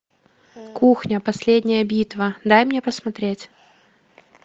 кухня последняя битва дай мне посмотреть